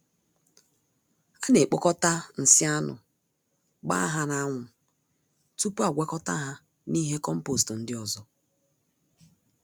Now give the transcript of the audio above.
Ana ekpokọta nsị anụ, gbaa ha na anwụ tupu agwakọta ha na ihe kompost ndị ọzọ